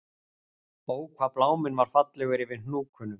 Ó hvað bláminn var fallegur yfir Hnúknum